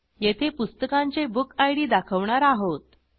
येथे पुस्तकांचे बुकिड दाखवणार आहोत